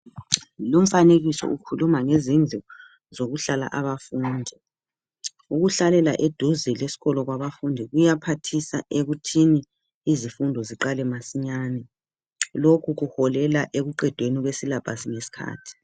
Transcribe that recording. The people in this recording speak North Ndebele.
Lumfanekiso ukhuluma ngezindlu zokuhlala abafundi ukuhlalela eduze lesikolo kwabafundi kuyaphathisa ekuthini izifundo ziqale masinyane lokhu kuholela ekuqedeni kwesyllabus ngesikhathi.